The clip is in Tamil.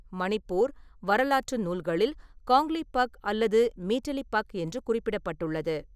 மணிப்பூர் வரலாற்று நூல்களில் காங்க்லீபக் அல்லது மீட்டிலிபக் என்று குறிப்பிடப்பட்டுள்ளது.